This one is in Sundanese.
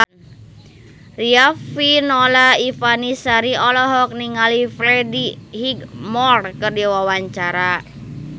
Riafinola Ifani Sari olohok ningali Freddie Highmore keur diwawancara